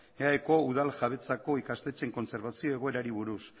eaeko udal jabetzako ikastetxeen kontserbazio egoerari buruz